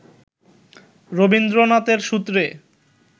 রবীন্দ্রনাথের সূত্রে